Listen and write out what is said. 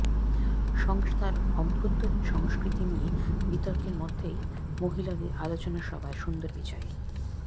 সংস্থার অভ্যন্তরীন সংস্কৃতি নিয়ে বিতর্কের মধ্যেই মহিলাদের আলোচনাসভায় সুন্দর পিচাই